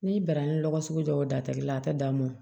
N'i banna ni lɔgɔ sugu dɔw datigɛla a tɛ dan mɔ